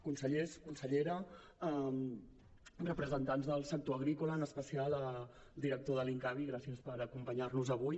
consellers consellera representants del sector agrícola en especial director de l’incavi gràcies per acompanyar nos avui